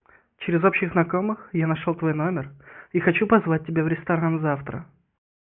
через общих знакомых я нашёл твой номер и хочу позвать тебя в ресторан завтра